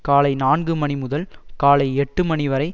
காலை நான்கு மணி முதல் காலை எட்டு மணி வரை